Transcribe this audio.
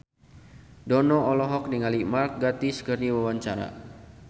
Dono olohok ningali Mark Gatiss keur diwawancara